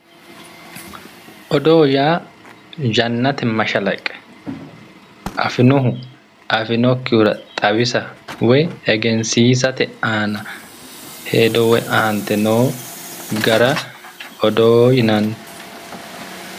Odoo yaa yannate mashalaqqe afinohu afinokkihura xawisa woyi egensiisate aana hedo woyi aante noo gara odoo yinanni